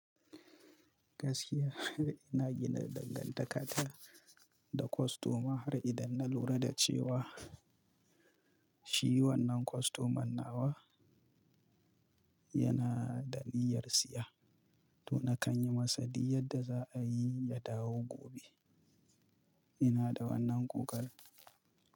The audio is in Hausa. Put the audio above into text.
Gaskiya ina gina dangantakata da kostoma har idan na lura da cewa shi wannan kostoman nawa yana da niyyar siya, to na kan yi masa di yadda za a yi ya dawo gobe. Ina da wannan kokarin.